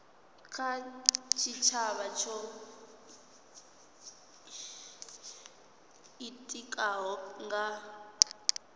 kha tshitshavha tsho itikaho nga